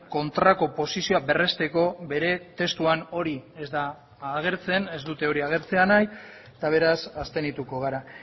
kontrako posizioa berresteko bere testuan hori ez da agertzen ez dute hori agertzea nahi eta beraz abstenituko gara